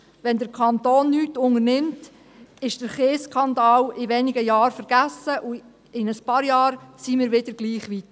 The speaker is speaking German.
Wenn der Kanton nichts unternimmt, ist der Kiesskandal in wenigen Jahren vergessen, und in ein paar Jahren sind wir gleich weit.